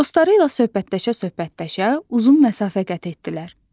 Dostları ilə söhbətləşə-söhbətləşə uzun məsafə qət etdilər.